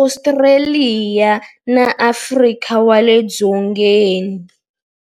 Ostraliya na Afrika wale dzongeni.